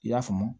I y'a faamu